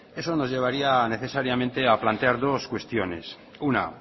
eso nos llevaría necesariamente a plantear dos cuestiones una